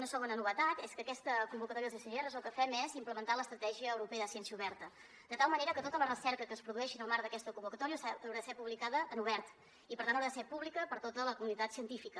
una segona novetat és que en aquesta convocatòria dels sgrs el que fem és implementar l’estratègia europea de ciència oberta de tal manera que tota la recerca que es produeixi en el marc d’aquesta convocatòria haurà de ser publicada en obert i per tant haurà de ser pública per a tota la comunitat científica